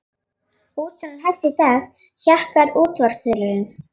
Útsalan hefst í dag, hjakkar útvarpsþulurinn.